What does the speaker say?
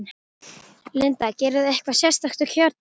Linda: Gerirðu eitthvað sérstakt á kjördag?